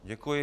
Děkuji.